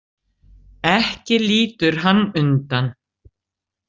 Ekki lítur hann undan.